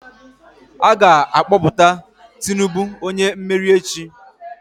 A ga-akpọpụta Tinubu onye mmeri echi